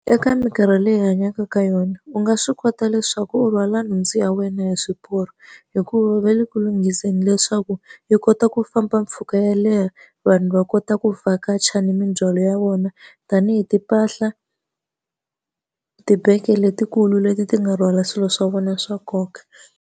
Eka minkarhi leyi hi hanyaka ka yona u nga swi kota leswaku u rhwala nhundzu ya wena hi swiporo, hikuva va le ku lunghiseni leswaku yi kota ku famba mpfhuka yo leha. Vanhu va kota ku vakacha ni mindzhwalo ya vona tanihi timpahla, tibege letikulu leti ti nga rhwala swilo swa vona swa nkoka.